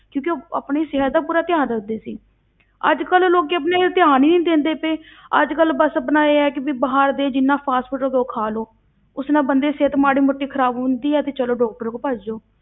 ਕਿਉਂਕਿ ਉਹ ਆਪਣੀ ਸਿਹਤ ਦਾ ਪੂਰਾ ਧਿਆਨ ਰੱਖਦੇ ਸੀ ਅੱਜ ਕੱਲ੍ਹ ਲੋਕੀ ਆਪਣੇ ਤੇ ਧਿਆਨ ਹੀ ਨੀ ਦਿੰਦੇ ਪਏ ਅੱਜ ਕੱਲ੍ਹ ਬਸ ਆਪਣਾ ਇਹ ਹੈ ਕਿ ਵੀ ਬਾਹਰ ਦੇ ਜਿੰਨਾ fast food ਹੈ ਉਹ ਖਾ ਲਓ, ਉਸ ਨਾਲ ਬੰਦੇ ਦੀ ਸਿਹਤ ਮਾੜੀ ਮੋਟੀ ਖ਼ਰਾਬ ਹੁੰਦੀ ਹੈ ਤੇ ਚਲੋ doctor ਕੋਲ ਭੱਜ ਜਾਓ।